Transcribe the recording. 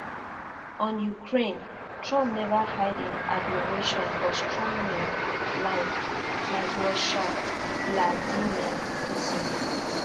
on ukraine trump neva hide im admiration for strongmen like like russia vladimir putin